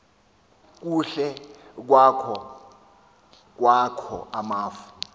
kukhe kwakho amafu